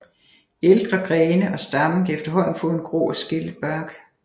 Ældre grene og stammen kan efterhånden få en grå og skællet bark